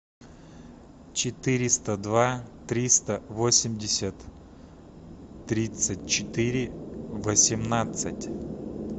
четыреста два триста восемьдесят тридцать четыре восемнадцать